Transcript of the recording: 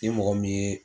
Ni mɔgɔ min ye